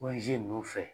ninnu fɛ